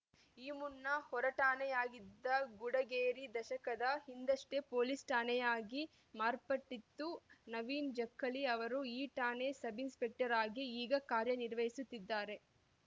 ಈ ಮುನ್ನ ಹೊರಠಾಣೆಯಾಗಿದ್ದ ಗುಡಗೇರಿ ದಶಕದ ಹಿಂದಷ್ಟೇ ಪೊಲೀಸ್‌ ಠಾಣೆಯಾಗಿ ಮಾರ್ಪಟ್ಟಿತ್ತು ನವೀನ ಜಕ್ಕಲಿ ಅವರು ಈ ಠಾಣೆಯ ಸಬ್‌ ಇನ್ಸ್‌ಪೆಕ್ಟರ್‌ ಆಗಿ ಈಗ ಕಾರ್ಯನಿರ್ವಹಿಸುತ್ತಿದ್ದಾರೆ